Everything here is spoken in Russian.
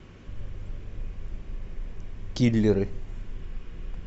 киллеры